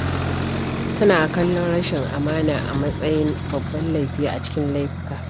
Tana kallon rashin amana a matsayin babban laifi a cikin laifuka.